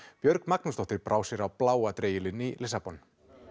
Björg Magnúsdóttir brá sér á bláa dregilinn í Lissabon